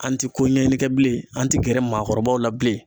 An ti ko ɲɛɲini kɛ bilen an ti gɛrɛ maakɔrɔbaw la bilen